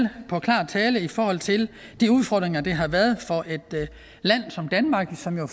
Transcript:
tale i forhold til de udfordringer der har været for et land som danmark som jo